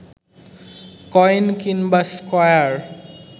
coin কিংবা square